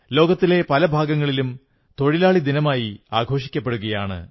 ലോകത്തിലെ പല ഭാഗങ്ങളിലും തോഴിലാളി ദിനമായി ആഘോഷിക്കപ്പെടുകയാണ്